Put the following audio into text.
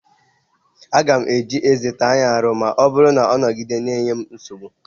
Aga m eji ezé m taa ya arù ma ọ bụrụ na ọ nogide na-enye m nsogbu.